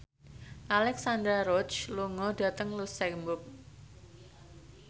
Alexandra Roach lunga dhateng luxemburg